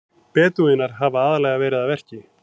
Bedúínar hafa aðallega verið að verki.